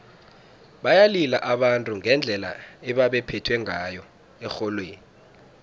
bayalila abantu ngendlela ebebaphethwe ngayo erholweni